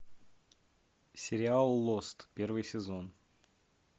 сериал лост первый сезон